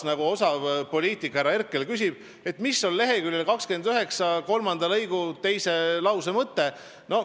Nagu osav poliitik härra Herkel küsis, mis on lehekülje 29 kolmanda lõigu teise lause mõte.